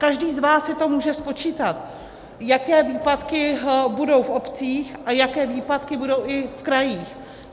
Každý z vás si to může spočítat, jaké výpadky budou v obcích a jaké výpadky budou i v krajích.